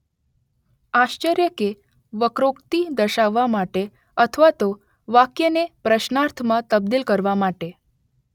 આશ્ચર્ય કે વક્રોક્તિ દર્શાવવા માટે અથવા તો વાક્યને પ્રશ્નાર્થમાં તબદિલ કરવા માટે.